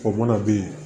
O mana ben